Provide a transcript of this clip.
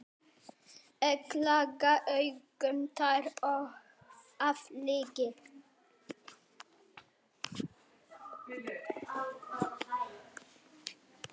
Egglaga augun tær af lygi.